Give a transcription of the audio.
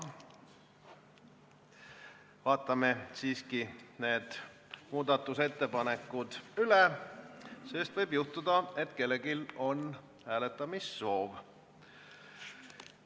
Vaatame siiski need muudatusettepanekud üle, sest võib juhtuda, et kellelgi on hääletamissoov.